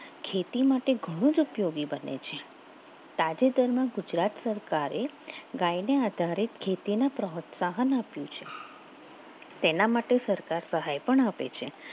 ખેતી માટે ઘણું જ ઉપયોગી બને છે સાથે તેમના ગુજરાત સરકારે ગાયના આધારે ખેતીને પ્રોત્સાહન આપ્યો છે આપ્યું છે તેના માટે સરકાર સહાય પણ આપે છે